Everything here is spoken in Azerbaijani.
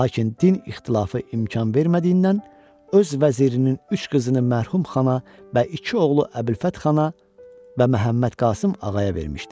Lakin din ixtilafı imkan vermədiyindən öz vəzirinin üç qızını mərhum xana və iki oğlu Əbülfət xana və Məhəmmədqasım Ağaya vermişdi.